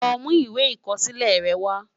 Lò mú iwé ikòsilè rè wá